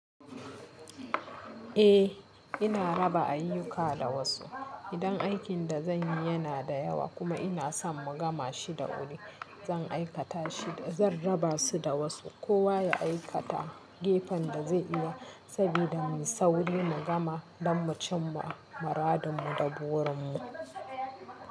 Eh, ina raba ayyuka da wasu. Idan aikin da zan yi yana da yawa kuma ina son mu gama shi da wuri, zan aikata shi da zan raba su da wasu. Kowa ya aikata gefen da zai iya saboda mu sauri mu gama don mu cim ma muradinmu da burinmu.